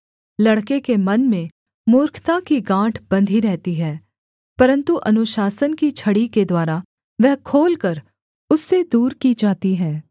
लड़के के मन में मूर्खता की गाँठ बंधी रहती है परन्तु अनुशासन की छड़ी के द्वारा वह खोलकर उससे दूर की जाती है